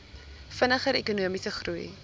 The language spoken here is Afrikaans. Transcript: vinniger ekonomiese groei